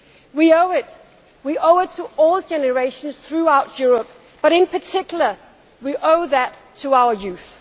We owe it to all generations throughout Europe but in particular we owe it to our youth.